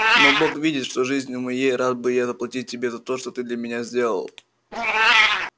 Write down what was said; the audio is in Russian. но бог видит что жизнию моей рад бы я заплатить тебе за то что ты для меня сделал